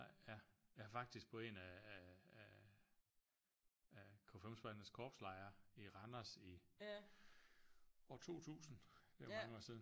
Nej ja jeg har faktisk på en af af af af KFUM-spejdernes korpslejre i Randers i år 2000 det er jo mange år siden